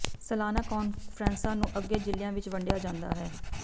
ਸਾਲਾਨਾ ਕਾਨਫ਼ਰੰਸਾਂ ਨੂੰ ਅੱਗੇ ਜ਼ਿਲਿਆਂ ਵਿਚ ਵੰਡਿਆ ਜਾਂਦਾ ਹੈ